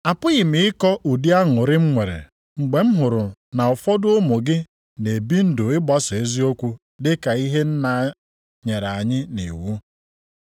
Apụghị m ịkọ ụdị aṅụrị m nwere mgbe m hụrụ na ụfọdụ ụmụ gị na-ebi ndụ ịgbaso eziokwu dịka ihe Nna nyere anyị nʼiwu.